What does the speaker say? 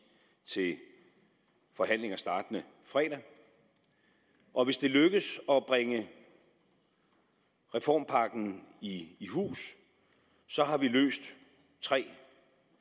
til forhandlinger startende fredag og hvis det lykkes at bringe reformpakken i hus har vi løst tre